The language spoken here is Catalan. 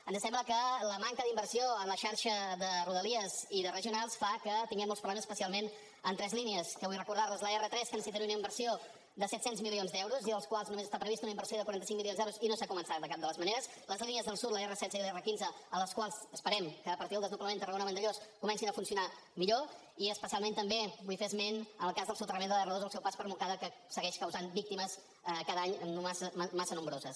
ens sembla que la manca d’inversió en la xarxa de rodalia i de regionals fa que tinguem molts problemes especialment en tres línies que vull recordar l’r3 que necessitaria una inversió de set cents milions d’euros i dels quals només està prevista una inversió de quaranta cinc milions d’euros i no s’ha començat de cap de les maneres les línies del sud l’r16 i l’r15 les quals esperem que a partir del desdoblament tarragona vandellòs comencin a funcionar millor i especialment també vull fer esment al cas del soterrament de l’r2 al seu pas per montcada que segueix causant víctimes cada any massa nombroses